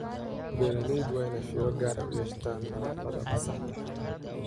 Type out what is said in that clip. Beeralayda waa in ay fiiro gaar ah u yeeshaan nadaafadda maxsaadka xoolaha.